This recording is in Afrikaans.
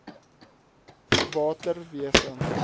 waterwese